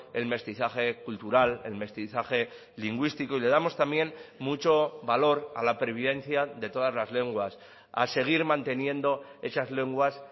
el mestizaje cultural el mestizaje lingüístico y le damos también mucho valor a la pervivencia de todas las lenguas a seguir manteniendo esas lenguas